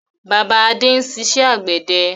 Bàbá Adé ń ṣiṣẹ́ àgbẹ̀dẹ